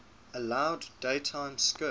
allowed daytime skirts